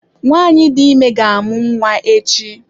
Nwanyị dị ime ga-amụ nwa echi.